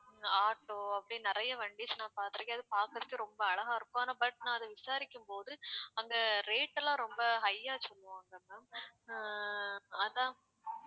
உம் auto அப்படின்னு நிறைய வண்டிஸ் நான் பார்த்திருக்கேன் அது பார்க்கிறதுக்கே ரொம்ப அழகா இருக்கும் ஆனா but நான் அத விசாரிக்கும்போது அங்க rate எல்லாம் ரொம்ப high ஆ சொல்லுவாங்க ma'am ஆ அதான்